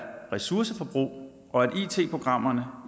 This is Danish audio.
ressourceforbrug og at it programmerne